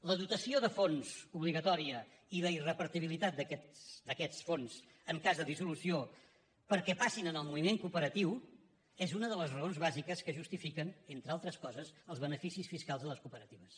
la dotació de fons obligatòria i la irrepartibilitat d’aquests fons en cas de dissolució perquè passin en el moviment cooperatiu és una de les raons bàsiques que justifiquen entre altres coses els beneficis fiscals de les cooperatives